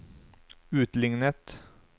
utlignet